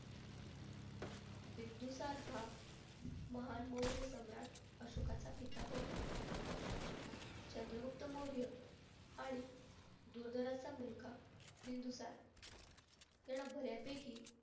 बिंदुसार हा महान मौर्य सम्राट अशोकाचा पिता होता. चंद्रगुप्त मौर्य आणि दुर्धराचा मुलगा बिंदुसार यांना बऱ्यापैकी